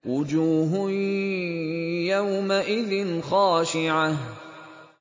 وُجُوهٌ يَوْمَئِذٍ خَاشِعَةٌ